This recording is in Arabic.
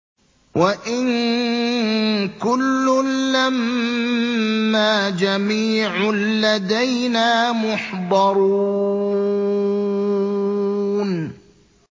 وَإِن كُلٌّ لَّمَّا جَمِيعٌ لَّدَيْنَا مُحْضَرُونَ